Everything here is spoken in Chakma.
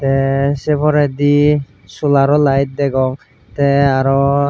te se porendi solaro light degong te aroo.